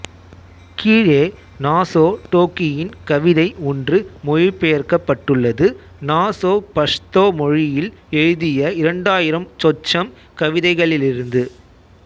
கீழே நாசோ டோக்கியின் கவிதை ஒன்று மொழிபெயர்க்கப் பட்டுள்ளது நாசோ பஷ்தோ மொழியில் எழுதிய இரண்டாயிரம் சொச்சம் கவிதைகளிலிருந்து